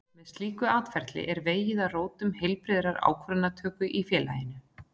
Með slíku atferli er vegið að rótum heilbrigðrar ákvarðanatöku í félaginu.